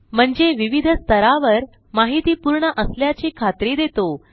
म्हणजे विविध स्तरावर माहिती पूर्ण असल्याची खात्री देतो